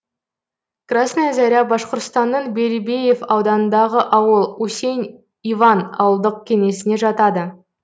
красная заря башқұртстанның белебеев ауданындағы ауыл усень иван ауылдық кеңесіне жатады